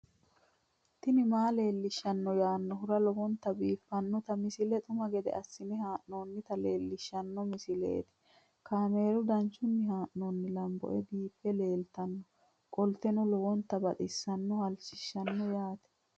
tini maa leelishshanno yaannohura lowonta biiffanota misile xuma gede assine haa'noonnita leellishshanno misileeti kaameru danchunni haa'noonni lamboe biiffe leeeltannoqolten lowonta baxissannoe halchishshanno yaate